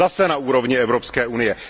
Zase na úrovni Evropské unie.